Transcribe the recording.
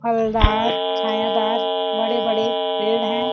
फलदार छायादार बड़े-बड़े पेड़ हैं।